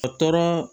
A tɔ